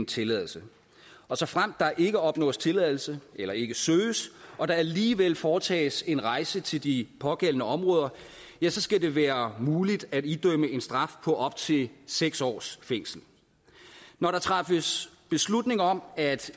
tilladelse og såfremt der ikke opnås tilladelse eller ikke søges og der alligevel foretages en rejse til de pågældende områder skal det være muligt at idømme en straf på op til seks års fængsel når der træffes beslutning om at